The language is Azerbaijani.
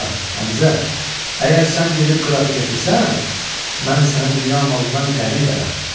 Bala, Həmzə, əgər sən gedib Qıratı gətirsən, mən sənə dünya malından qəni verərəm.